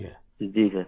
जी sir